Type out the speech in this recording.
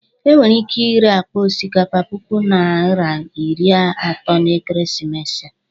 E nwere ike ire akpa osikapa puku naịra iri atọ n'ekeresimesi a.